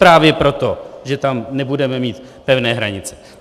Právě proto, že tam nebudeme mít pevné hranice.